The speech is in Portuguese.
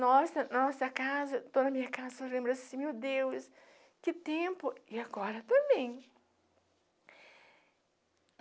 Nossa, nossa casa, toda a minha casa, eu só lembro assim, meu Deus, que tempo e agora também.